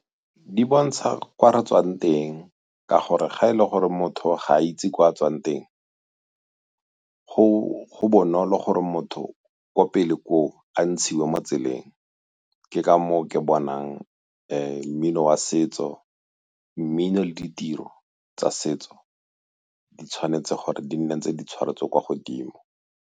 Di bontsha kwa re tswang teng ka gore ga e le gore motho ga a itse gore ko a tswang teng go bonolo gore motho ko pele ko a ntshiwe mo tseleng ke ka moo ke bonang mmino wa setso, mmino le ditiro tsa setso di tshwanetse gore di nne tse di tshwaretswe kwa godimo.